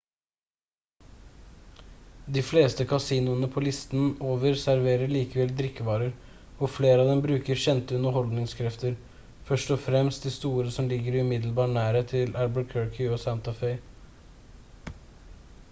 de fleste kasinoene på listen over serverer likevel drikkevarer og flere av dem bruker kjente underholdningskrefter først og fremst de store som ligger i umiddelbar nærhet til albuquerque og santa fe